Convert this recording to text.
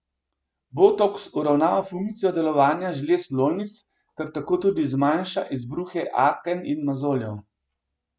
Botoks uravnava funkcijo delovanja žlez lojnic ter tako tudi zmanjša izbruhe aken in mozoljev.